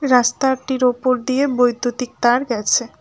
রাস্তাটির ওপর দিয়ে বৈদ্যুতিক তার গেছে।